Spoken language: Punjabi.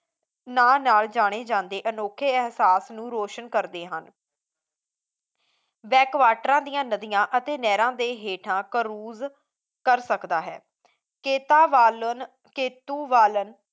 ਨਾਂ ਨਾਲ ਜਾਣੇ ਜਾਂਦੇ ਅਨੋਖੇ ਅਹਿਸਾਸ ਨੂੰ ਰੋਸ਼ਨ ਕਰਦੇ ਹਨ ਬੈਕ ਵਾਟਰਾਂ ਦੀਆਂ ਨਦੀਆਂ ਤੇ ਨਹਿਰਾਂ ਦੇ ਹੇਠਾਂ cruze ਕਰ ਸਕਦਾ ਹੈ ਕੇਤਾਬਲਨ ਕੇਤੁ ਬਾਲਨ